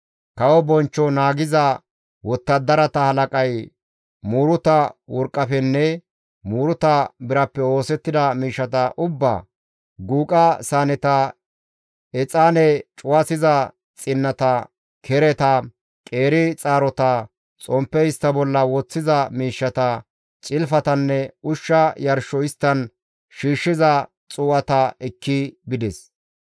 Kawo bonchcho naagiza wottadarata halaqay muuruta worqqafenne muuruta birappe oosettida miishshata ubbaa, guuqa saaneta, exaane cuwasiza xinnata, kereta, qeeri xaarota, xomppe istta bolla woththiza miishshata, cilfatanne ushsha yarsho isttan shiishshiza xuu7ata ekki bides.